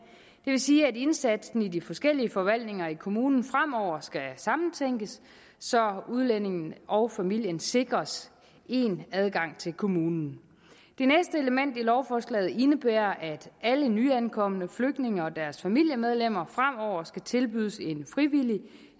vil sige at indsatsen i de forskellige forvaltninger i kommunen fremover skal sammentænkes så udlændingen og familien sikres én adgang til kommunen det næste element i lovforslaget indebærer at alle nyankomne flygtninge og deres familiemedlemmer fremover skal tilbydes en frivillig